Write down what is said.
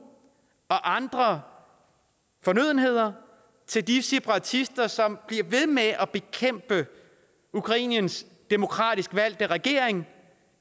andre fornødenheder til de separatister som bliver ved med at bekæmpe ukraines demokratisk valgte regering